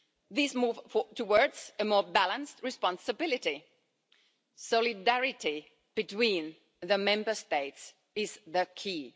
This moves towards more balanced responsibility. Solidarity between the Member States is key.